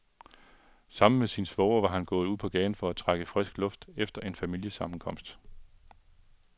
Sammen med sin svoger var han gået ud på gaden for at trække frisk luft efter en familiesammenkomst.